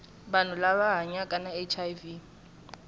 vanhu lava hanyaka na hiv